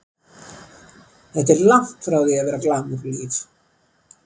Þetta er langt frá því að vera glamúr-líf.